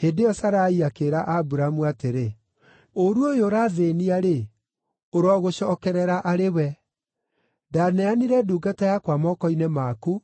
Hĩndĩ ĩyo Sarai akĩĩra Aburamu atĩrĩ, “Ũũru ũyũ ũrathĩĩnia-rĩ, ũrogũcookerera arĩ we. Ndaneanire ndungata yakwa moko-inĩ maku,